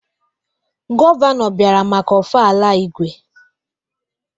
Gọvanọ bịara maka Ofala Igwe.